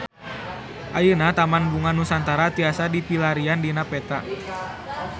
Ayeuna Taman Bunga Nusantara tiasa dipilarian dina peta